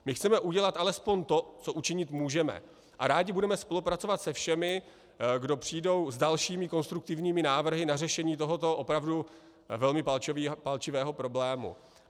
My chceme udělat alespoň to, co učinit můžeme, a rádi budeme spolupracovat se všemi, kdo přijdou s dalšími konstruktivními návrhy na řešení tohoto opravdu velmi palčivého problému.